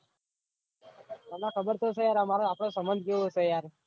તમને ખબર તો ચ યાર અમારો આપડો સંબંદ કેવો ચ યાર આ ભાઈ યાર